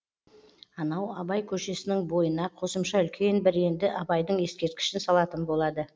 анау абай көшесінің бойына қосымша үлкен бір енді абайдың ескерткішін салатын болады